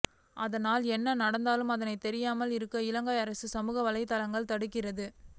ஆனால் என்ன நடந்தாலும் அதனை தெரியாமல் இருக்க இலங்கை அரசு சமூக வலையத்தளங்களை தடுக்கிறது